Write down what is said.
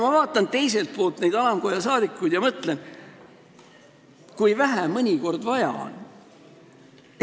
Ja ma vaatan neid alamkoja saadikuid ja mõtlen teiselt poolt, et kui vähe mõnikord vaja on.